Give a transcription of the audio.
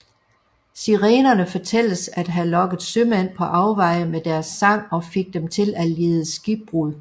Sirenerne fortælles at have lokket sømænd på afveje med deres sang og fik dem til at lide skibbrud